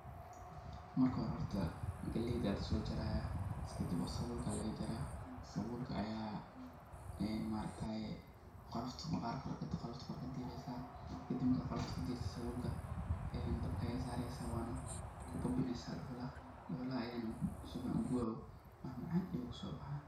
Marka hore horta galeydaa laso jarayaa kadib sabulka ayaa laga jaraa , sabulka ayaa maaragtaye qolofta maqarka kore, qolofta kore kudi kadiresa, kadib markad qolofta kore kadirtid ee dabka ayaa saresa waana kubabinesa dhuhulaha, dhuhulaha ayana si fican u gubaa oo wax macan ayu kusobahaya.